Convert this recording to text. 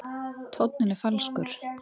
Tónninn er falskur.